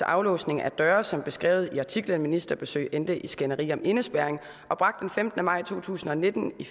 aflåsning af døre som beskrevet i artiklen ministerbesøg endte i skænderi om indespærring bragt den femtende maj to tusind og nitten i